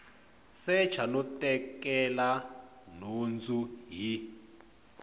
secha no tekela nhundzu hi